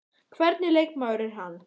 Hvernig leikmaður er hann?